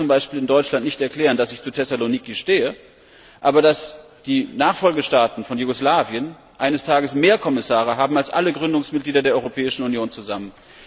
Ich kann zum Beispiel in Deutschland nicht erklären, dass ich zu Thessaloniki stehe, dass aber die Nachfolgestaaten von Jugoslawien eines Tages mehr Kommissare haben werden als alle Gründungsmitglieder der Europäischen Union zusammen.